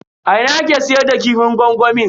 A ina ake siyar da kifin gwangwamin?